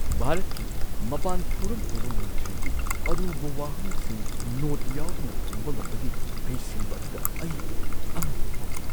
ꯚꯥꯔꯠꯀꯤ ꯃꯄꯥꯟ ꯊꯧꯔꯝ ꯄꯨꯕ ꯃꯟꯇ꯭ꯔꯤꯒꯤ ꯑꯔꯨꯕ ꯋꯥꯍꯪꯁꯤꯡ ꯅꯣꯠ ꯌꯥꯎꯗꯅ ꯈꯨꯝꯕ ꯉꯝꯕꯒꯤ ꯍꯩꯁꯤꯡꯕ ꯑꯗꯨꯗ ꯑꯩ ꯑꯉꯛꯄ ꯐꯥꯎꯈꯤ ꯫